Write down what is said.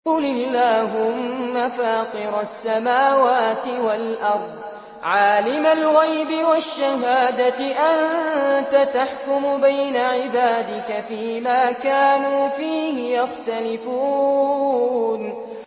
قُلِ اللَّهُمَّ فَاطِرَ السَّمَاوَاتِ وَالْأَرْضِ عَالِمَ الْغَيْبِ وَالشَّهَادَةِ أَنتَ تَحْكُمُ بَيْنَ عِبَادِكَ فِي مَا كَانُوا فِيهِ يَخْتَلِفُونَ